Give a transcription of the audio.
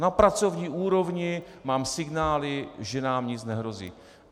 Na pracovní úrovni mám signály, že nám nic nehrozí.